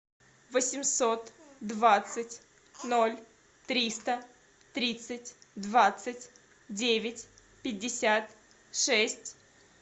восемьсот двадцать ноль триста тридцать двадцать девять пятьдесят шесть